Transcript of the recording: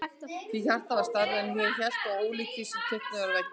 Því hjartað var stærra en ég hélt og ólíkt því sem er teiknað á veggi.